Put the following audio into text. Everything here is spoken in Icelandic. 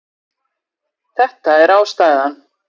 Þetta er ástæðan